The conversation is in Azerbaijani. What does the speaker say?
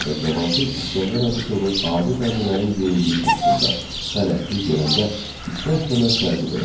Və Cavanşir İsgəndər Abuşovu adi bəndələrin geyindiyi kostyumda xələtsiz görəndə istər-istəməz təəccüb elədi.